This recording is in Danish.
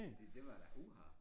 Det det var da uha